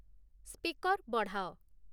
speaker ବଢ଼ାଅ